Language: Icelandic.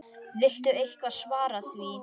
Viltu eitthvað svara því?